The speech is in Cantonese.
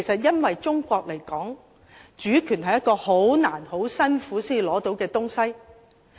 因為以中國來說，主權是一個很艱難、很辛苦才能獲取的東西。